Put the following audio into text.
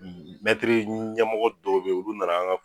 Mɛtiri ɲɛmɔgɔ dɔw bɛ yen olu nana an ka